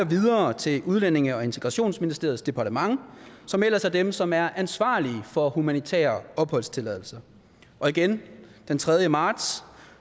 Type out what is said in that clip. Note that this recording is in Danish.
videre til udlændinge og integrationsministeriets departement som ellers er dem som er ansvarlige for humanitære opholdstilladelser og den den tredje marts